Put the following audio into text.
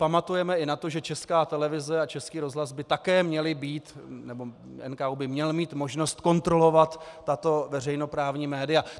Pamatujeme i na to, že Česká televize a Český rozhlas by také měly být - nebo NKÚ by měl mít možnost kontrolovat tato veřejnoprávní média.